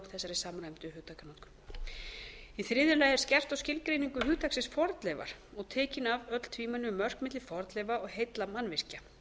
þessari samræmdu hugtakanotkun þriðja skerpt er á skilgreiningu hugtaksins fornleifar og tekin af öll tvímæli um mörk milli fornleifa og heilla mannvirkja